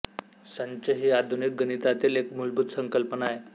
संच ही आधुनिक गणितातील एक मूलभूत संकल्पना आहे